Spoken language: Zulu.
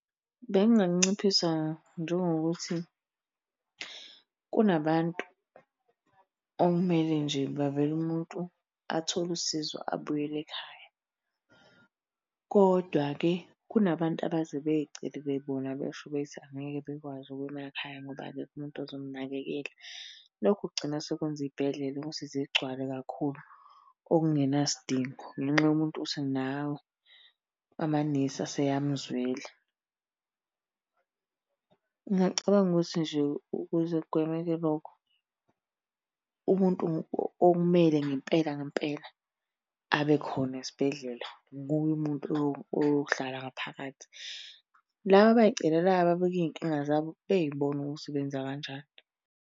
Benginganciphisa njengokuthi kunabantu okumele nje bavele umuntu athole usizo abuyele ekhaya, kodwa-ke kunabantu abaze bey'celele bona besho bethi angeke bekwazi ukuya emakhaya ngoba akekho umuntu ozomnakekela. Lokhu kugcina sekwenza iy'bhedlela ukuthi zigcwale kakhulu okungenasidingo, ngenxa yomuntu othi yena hhawu amanesi aseyamuzwela. Ngiyacabanga ukuthi nje ukuze kugwemeke lokho, umuntu okumele ngempela ngempela abe khona esibhedlela nguye umuntu lo oyohlala ngaphakathi. Laba abay'celelayo ababeka iy'nkinga zabo bey'bone ukuthi benza kanjani.